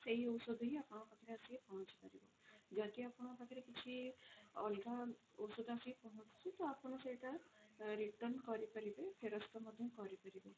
ସେଇ ଔଷଧ ହିଁ ଆପଣଙ୍କ ପାଖରେ ଆସିକି ପହଞ୍ଚି ପାରିବ ଯଦି ଆପଣଙ୍କ ପାଖରେ କିଛି ଅଲଗା ଔଷଧ ଆସିକି ପହଞ୍ଚୁଛି ତ ଆପଣ ସେଇଟା return କରିପାରିବେ ଫେରସ୍ତ ମଧ୍ୟ କରି ପାରିବେ।